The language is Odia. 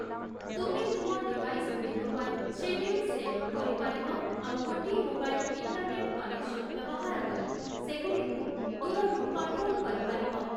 ତୁମେ ତୁମ ଡିଭାଇସ୍‌ଗୁଡ଼ିକ ପାଇଁ ଶେଡ୍ୟୁଲ୍‌ ସେଟ୍ କରିପାରିବ ଆଉ ଗୋଟିଏ ମୋବାଇଲ୍ ଇଣ୍ଟର୍‌ନେଟ୍‌ କନେକ୍ସନ୍‌ ବ୍ୟବହାର କରି ସେଗୁଡ଼ିକୁ ଦୂରରୁ କଣ୍ଟ୍ରୋଲ୍‌ କରିପାରିବ